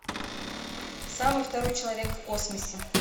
самый второй человек в космосе